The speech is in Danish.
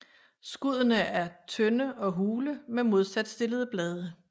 Skuddene er tynde og hule med modsat stillede blade